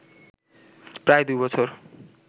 প্রায় দুই বছর